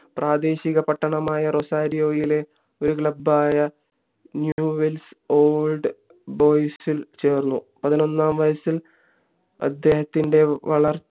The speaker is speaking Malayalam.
പ്രാദേശിക പട്ടണമായ റൊസാരിയോവിലെ ഒരു club ആയ ന്യൂ വേൾഡ് ഓൾഡ് ബോയ്സിൽ ചേർന്നു പതിനൊന്നാം വയസ്സിൽ അദ്ദേഹത്തിൻ്റെ വളർച്ച